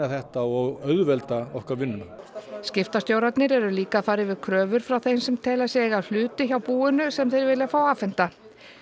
þetta og auðvelda okkur vinnuna skiptastjórarnir eru líka að fara yfir kröfur frá þeim sem telja sig eiga hluti hjá búinu sem þeir vilja fá afhenta